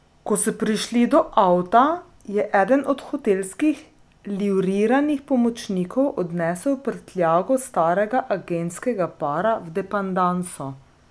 Ko so prišli do avta, je eden od hotelskih livriranih pomočnikov odnesel prtljago starega agentskega para v depandanso.